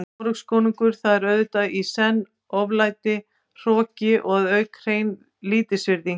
Noregskonungur, það er auðvitað í senn oflæti, hroki og að auki hrein lítilsvirðing.